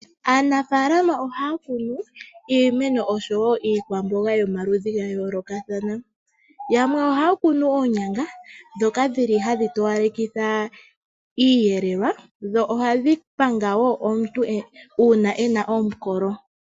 Aanafalama ohaya kunu iimeno noshowo iikwamboga yomaludhi ga yoolokathana. Yamwe ohaya kunu oonyanga dhoka dhili hadhi towalekitha iiyelelwa, dho ohadhi panga wo uuna omuntu ena omukolo.